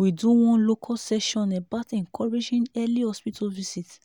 we do one local session about encouraging early hospital visit